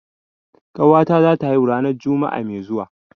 Ƙawata zata haihu ranar juma'a mai zuwa.